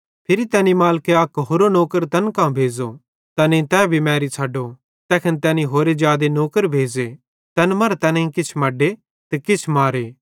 फिरी तैनी मालिके होरो अक नौकर तैन कां भेज़ो तैनेईं तै भी मैरी छ़ड्डो तैखन तैनी होरे जादे नौकर भेज़े तैन मरां तैनेईं किछ मड्डे ते किछ मारे